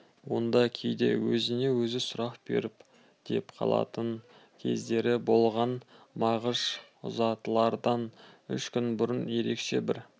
онда кейде өзіне-өзі сұрақ беріп деп қалатын кездері болған мағыш ұзатылардан үш күн бұрын ерекше бір